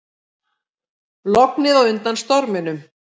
Lognið á undan storminum